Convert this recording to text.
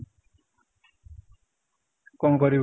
କଣ କରିବି ?